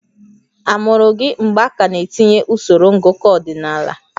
A mụrụ gị mgbe a ka na-etinye usoro ngụkọ ọdịnala?